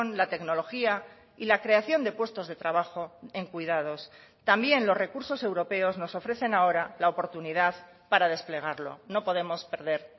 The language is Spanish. la tecnología y la creación de puestos de trabajo en cuidados también los recursos europeos nos ofrecen ahora la oportunidad para desplegarlo no podemos perder